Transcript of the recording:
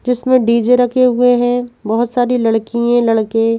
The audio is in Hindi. जिसमें डीजे रखे हुए है बहुत सारे लड़कीये लड़के--